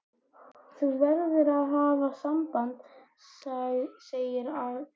Þú verður að hafa samband, segir Agnes sannfærandi.